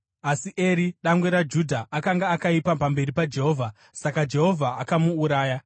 Asi Eri, dangwe raJudha, akanga akaipa pamberi paJehovha, saka Jehovha akamuuraya.